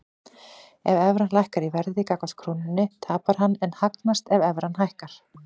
Ef evran lækkar í verði gagnvart krónunni tapar hann en hagnast ef evran hækkar.